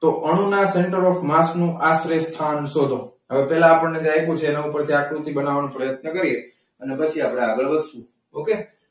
તો અણુના centre of mass નો આશરે સ્થાન શોધો. હવે પહેલા આપણને જે પૂછે એના પરથી આકૃતિ બનાવવાનો પ્રયત્ન કરીએ. અને પછી આપણે આગળ વધશું. okay?